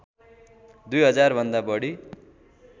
दुई हजारभन्दा बढी